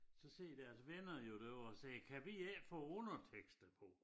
Så sidder deres venner jo derovre og siger kan vi ikke få undertekster på